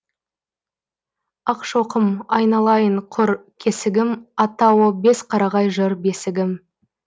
ақшоқым айналайын құр кесігім аттауы бесқарағай жыр бесігім